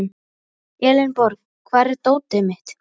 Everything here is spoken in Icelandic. Elenborg, hvar er dótið mitt?